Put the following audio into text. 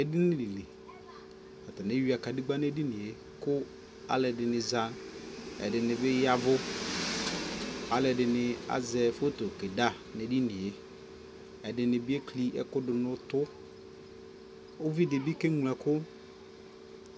ɛdini li, atani ɛwia kadigba nʋ ɛdiniɛ kʋ alʋɛdini za, ɛdini bi yavʋ, alʋɛdini azɛ photo kɛda nʋ ɛdiniɛ, ɛdini bi ɛkli ɛkʋ dʋnʋ ʋtʋ, ʋvidi bi kɛ mlɔ ɛkʋ